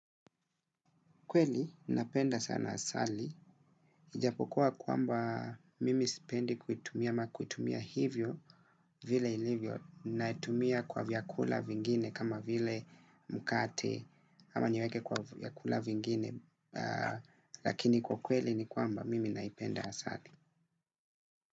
Kweli, napenda sana asali. Ijapokua kwamba mimi spendi kuitumia ama kuitumia hivyo vile ilivyo. Natumia kwa vyakula vingine kama vile mkate ama niweke kwa vyakula vingine. Lakini kwa kweli ni kwamba mimi naipenda asali.